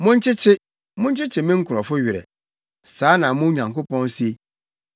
Monkyekye, monkyekye me nkurɔfo werɛ. Saa na mo Nyankopɔn se.